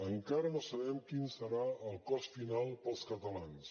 encara no sabem quin serà el cost final per als catalans